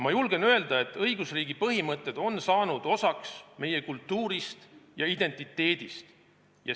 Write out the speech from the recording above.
Ma julgen öelda, et õigusriigi põhimõtted on saanud osaks meie kultuurist ja identiteedist.